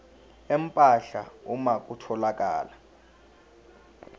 empahla uma kutholakala